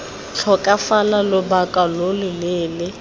tlhokafala lobaka lo lo leele